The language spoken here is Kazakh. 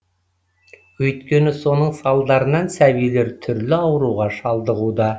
өйткені соның салдарынан сәбилер түрлі ауруға шалдығуда